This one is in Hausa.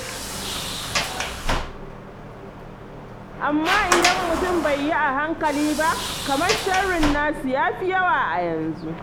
Amma idan mutum bai yi a hankali ba, kamar sharrin nasu ya fi yawa a yanzu.